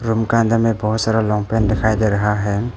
Room का अंदर में बहुत सारा लॉन्ग पेंट दिखाई दे रहा है।